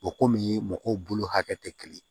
O kɔmi mɔgɔw bolo hakɛ tɛ kelen ye